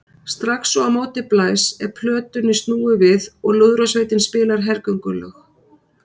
Strax og á móti blæs er plötunni snúið við og lúðrasveitin spilar hergöngulög.